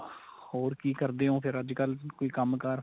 ਹੋਰ ਕੀ ਕਰਦੇ ਓ ਫ਼ਿਰ ਅੱਜਕਲ ਕੋਈ ਕੰਮ ਕਾਰ